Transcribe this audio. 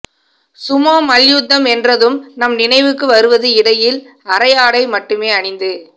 Sumo மல்யுத்தம் என்றதும் நம் நினைவுக்கு வருவது இடையில் அரையாடை மட்டுமே அணிந்து